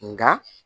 Nka